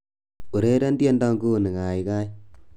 Ureren tiendo nguni kaikai